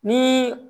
Ni